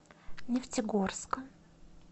нефтегорска